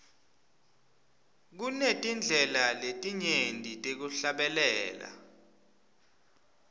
kunetindlela letinyenti tekuhlabela